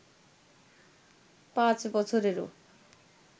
পাঁচ বছরেরও